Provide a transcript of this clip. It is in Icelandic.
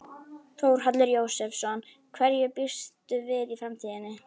Þórhallur Jósefsson: Hverju býstu við í framtíðinni?